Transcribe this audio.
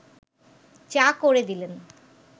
চা করে দিলেন